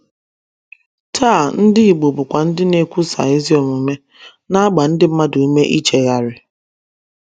Taa, ndị igbo bụkwa ndị na - ekwusa ezi omume, na - agba ndị mmadụ ume ichegharị.